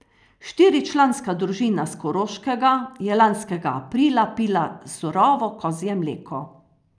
Štiričlanska družina s Koroškega je lanskega aprila pila surovo kozje mleko.